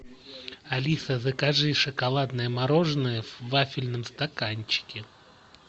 алиса закажи шоколадное мороженое в вафельном стаканчике